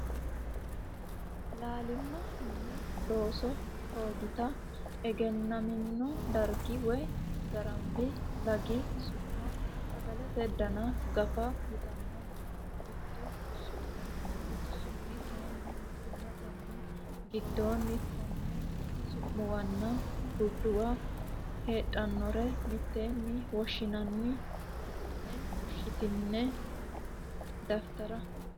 Laalima Mini Looso Loggita egennamino dargi woy Garamba lagi su ma Sagalete Dana Gafa yitanno Gutu su mi kayinni mittimmatenni giddonni tonne su muwanna gurduwa heedhannore mitteenni woshshinanni hassine fushshitine daftari.